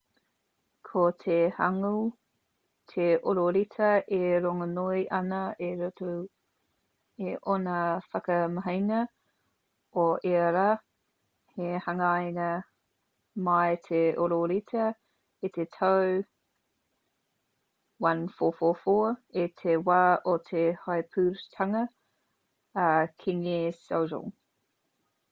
ko te hangeul te ororeta e rongonui ana i roto i ōna whakamahinga o ia rā. i hangaia mai te ororeta i te tau 1444 i te wā o te heipūtanga a kīngi sejong 1418-1450